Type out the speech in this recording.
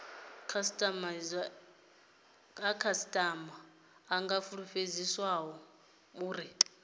khasitama i nga fulufhedziswa uri